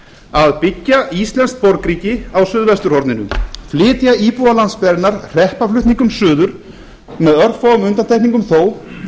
að byggja íslenskt borgríki á suðvesturhorninu flytja íbúa landsbyggðarinnar hreppaflutningum suður með örfáum undantekningum þó